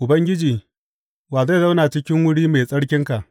Ubangiji, wa zai zauna cikin wuri mai tsarkinka?